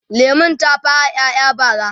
lemun ta fara ƴaƴa bara